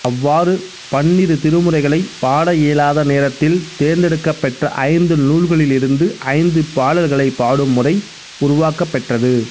அவ்வாறு பன்னிருத்திருமுறைகளைப் பாட இயலாத நேரத்தில் தேர்ந்தெடுக்கப்பெற்ற ஐந்து நூல்களிலிருந்து ஐந்து பாடல்களை பாடும் முறை உருவாக்கப் பெற்றது